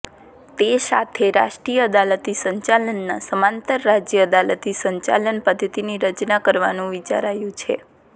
તે સાથે રાષ્ટ્રીય અદાલતી સંચાલનના સમાંતર રાજય અદાલતી સંચાલન પધ્ધતિની રચના કરવાનું વિચારાયું છે